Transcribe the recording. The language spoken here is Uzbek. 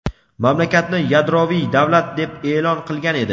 mamlakatni yadroviy davlat deb e’lon qilgan edi.